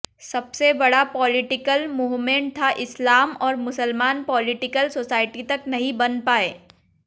सबसे बड़ा political movement था इस्लाम और मुसलमान पॉलिटिकल सोसाईटी तक नहीं बन पाए